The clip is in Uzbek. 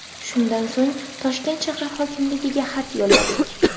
Shundan so‘ng Toshkent shahar hokimligiga xat yo‘lladik.